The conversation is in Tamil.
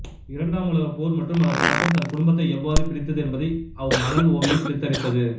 இரண்டாம் உலகப் போர் மற்றும் அதன் தாக்கம் தன் குடும்பத்தை எவ்வாறு பிரித்தது என்பதை அவ் மணல் ஓவியம் சித்தரித்தது